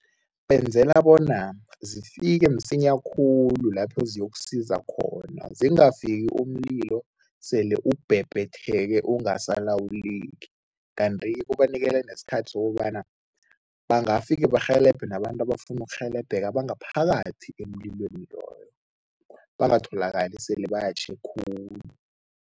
Benzela bona zifike msinya khulu lapho ziyokusiza khona, zingafiki umlilo sele ukubhebhetheke ungasalawuleki kanti kubanikela nesikhathi sokobana bangafike barhelebhe nabantu abafuna ukurhelebheke abangaphakathi emlilweni loyo, bangatholakali esele batjhe khulu.